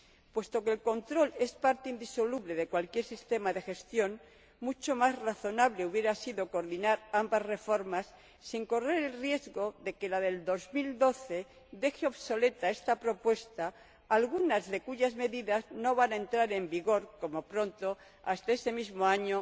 Puesto que el control es parte indisoluble de cualquier sistema de gestión, mucho más razonable hubiera sido coordinar ambas reformas sin correr el riesgo de que la de 2012 deje obsoleta esta propuesta, algunas de cuyas medidas no van a entrar en vigor, como pronto, hasta ese mismo año